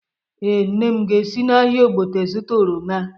Ee, nne m ga-esi n’ahịa Ogbete zụta oroma?